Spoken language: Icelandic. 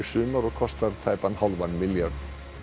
sumar og kostar tæpan hálfan milljarð